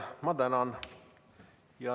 Ma tänan!